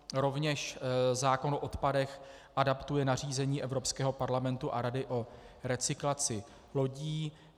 Rovněž zákon o odpadech adaptuje nařízení Evropského parlamentu a Rady o recyklaci lodí.